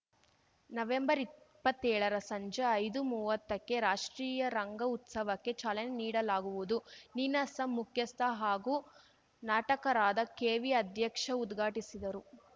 ನವೆಂಬರ್ಇಪ್ಪತ್ತೇಳರ ಸಂಜೆ ಐದುಮುವತ್ತಕ್ಕೆ ರಾಷ್ಟ್ರೀಯರಂಗ ಉತ್ಸವಕ್ಕೆ ಚಾಲನೆ ನೀಡಲಾಗುವುದು ನೀನಾಸಂ ಮುಖ್ಯಸ್ಥ ಹಾಗೂ ನಾಟಕರಾದ ಕೆವಿಅಧ್ಯಕ್ಷ ಉದ್ಘಾಟಿಸಿದರು